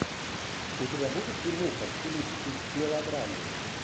у тебя будет фильмуха в стилистике мелодрамы